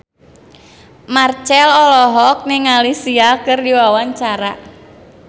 Marchell olohok ningali Sia keur diwawancara